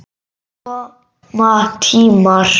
En koma tímar.